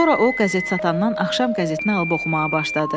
Sonra o qəzet satandan axşam qəzetini alıb oxumağa başladı.